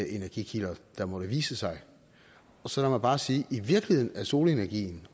energikilder der måtte vise sig så lad mig bare sige at i virkeligheden er solenergien